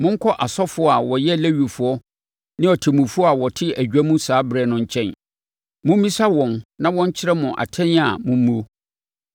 Monkɔ asɔfoɔ a wɔyɛ Lewifoɔ ne ɔtemmufoɔ a ɔte adwa mu saa ɛberɛ no nkyɛn. Mommisa wɔn na wɔnkyerɛ mo atɛn a mommuo.